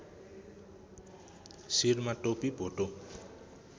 शिरमा टोपी भोटो